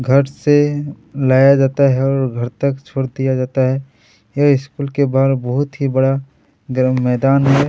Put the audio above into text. घर से लाया जाता है और घर तक छोड़ दिया जाता है ये स्कूल के बाहर बहुत ही बड़ा ग्राउंड मैदान है।